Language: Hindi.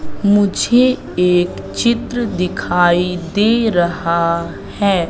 मुझे एक चित्र दिखाई दे रहा है।